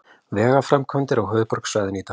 Vegaframkvæmdir á höfuðborgarsvæðinu í dag